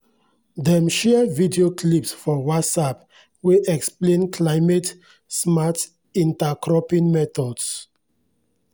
dem share video clips for whatsapp wey explain climate-smart intercropping methods.